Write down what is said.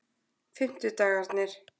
fimmtudagarnir